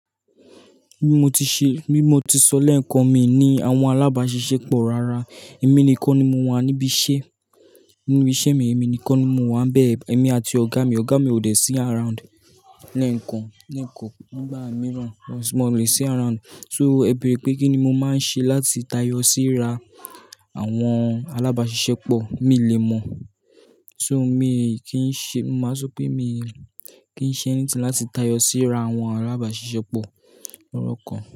Bí mo ti ṣe, bí mo ti sọ lẹ́ẹ̀kan mi ní àwọn alábàáṣiṣẹ́ pọ̀ rárá. Èmi nìkan ni mo wà níbi iṣẹ́, nínú iṣẹ́ mi èmi nìkan ni mo wà bẹ́ẹ̀. Èmi àti ọ̀gá mi, ọ̀gá mi ò dé sí around lẹ́ẹ̀kan, lẹ́ẹ̀kan nígbà mìíràn, mo lè sí around. So, ẹ bẹ̀rẹ̀ pé kí ni mo máa ń ṣe láti tayọ sí ra àwọn alábáàṣiṣẹ́ pọ̀, mi lè mọ̀. So, mi kì í ṣe, máa sọ pé mi kì í ṣe ẹ́ní tí láti tayọ sí ra àwọn alábáàṣiṣẹ́ pọ̀ lọ́rọ̀ kan.